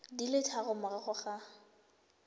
di le tharo morago ga